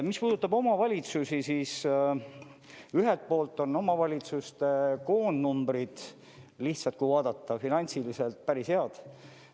Mis puudutab omavalitsusi, siis ühelt poolt on omavalitsuste koondnumbrid, lihtsalt kui vaadata finantsiliselt, päris head.